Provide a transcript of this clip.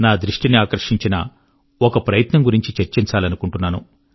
నా దృష్టిని ఆకర్షించిన ఒక ప్రయత్నం గురించి చర్చించాలనుకుంటున్నాను